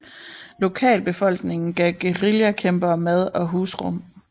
Lokalbefolkningen gav guerillakæmperne mad og husrum